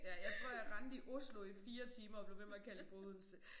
Ja jeg tror jeg rendte i Oslo i 4 timer og blev ved med at kalde det for Odense